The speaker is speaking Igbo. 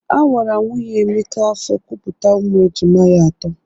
A wara nwunye Emeka afọ kupụta ụmụ e jima ya atọ.